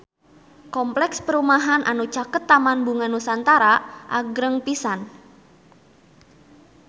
Kompleks perumahan anu caket Taman Bunga Nusantara agreng pisan